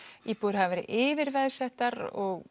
íbúðir hafa verið yfir veðsettar og